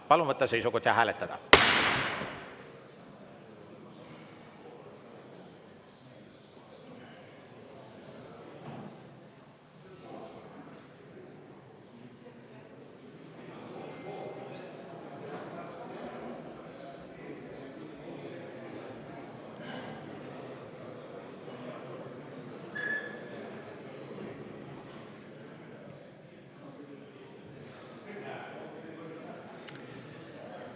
Palun võtta seisukoht ja hääletada!